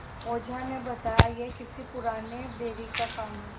ओझा ने बताया यह किसी पुराने बैरी का काम है